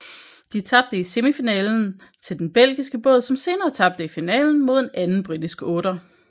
De tabte i semifinalen til den belgiske båd som senere tabte i finalen mod en anden britisk otter